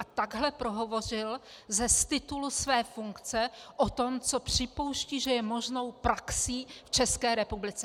A takhle prohovořil z titulu své funkce o tom, co připouští, že je možnou praxí v České republice.